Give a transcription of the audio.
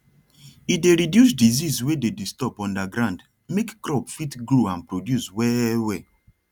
e dey reduce disease wey dey disturb underground make crop fit grow and produce well well